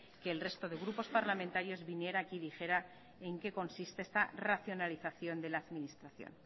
que el resto de grupos parlamentarios vinieran aquí y dijera en qué consiste esta racionalización de la administración